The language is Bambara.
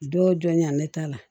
Don jɔ la ne ta la